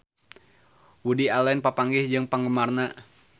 Woody Allen papanggih jeung penggemarna